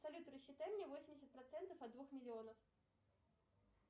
салют рассчитай мне восемьдесят процентов от двух миллионов